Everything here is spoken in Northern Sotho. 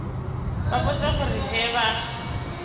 ba botša gore ge ba